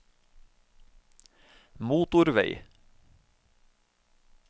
motorvei